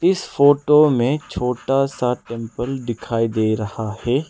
इस फोटो में छोटा सा टेंपल दिखाई दे रहा है।